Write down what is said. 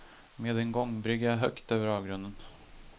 Med en gångbrygga högt över avgrunden.